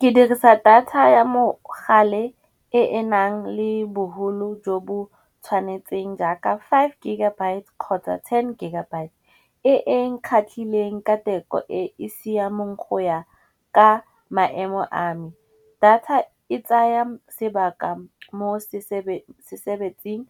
Ke dirisa data ya mogale e e nang le bogolo jo bo tshwanetseng jaaka five gigabyte kgotsa ten gigabyte. E e nkgatlhileng ka teko e e siameng go ya ka maemo a me. Data e tsaya sebaka mo se sebetsing